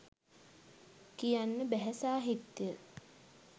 කියන්න බැහැ සාහිත්‍ය